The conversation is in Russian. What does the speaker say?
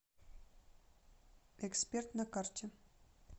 эксперт на карте